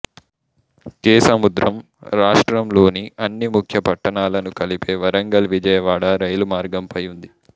కేసముద్రం రాష్ట్రం లోని అన్ని ముఖ్య పట్టణాలను కలిపే వరంగల్విజయవాడ రైలు మార్గం పై ఉంది